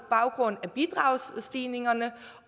grund af bidragsstigningerne